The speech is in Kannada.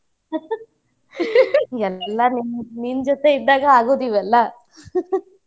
ಎಲ್ಲಾನೂ ನಿನ್ನ ಜೋತೆ ಇದ್ದಾಗ ಆಗೊದ್ ಇವೆಲ್ಲಾ .